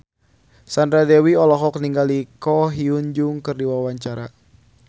Sandra Dewi olohok ningali Ko Hyun Jung keur diwawancara